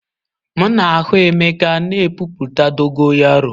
M na-ahụ emeka na epupụta dogo yaro.